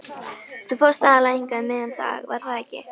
Þú fórst aðallega hingað um miðjan dag, var það ekki?